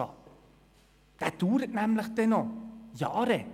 Dieser dauert dann nämlich noch Jahre.